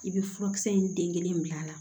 I bɛ furakisɛ in den kelen bila a la